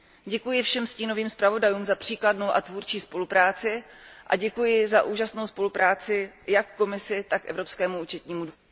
Děkuji všem stínovým zpravodajům za příkladnou a tvůrčí spolupráci a děkuji za úžasnou spolupráci jak Komisi, tak Evropskému účetnímu dvoru.